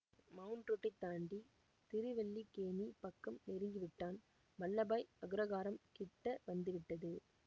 mount ரோட்டைத் தாண்டி திருவல்லிக்கேணிப் பக்கம் நெருங்கிவிட்டான் வல்லபாய் அக்ரகாரம் கிட்ட வந்துவிட்டது